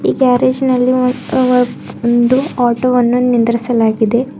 ಈ ಗ್ಯಾರೇಜ್ ನಲ್ಲಿ ಒಂದ್ ಅ ಒಂದು ಆಟೋ ವನ್ನು ನಿಂದ್ರಿಸಲಾಗಿದೆ.